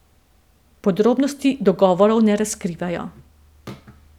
Podrobnosti dogovorov ne razkrivajo.